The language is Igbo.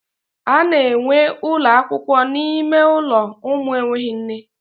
A na enwee ụlọakwụkwọ n'ime ụlọ ụmụ enweghị nne.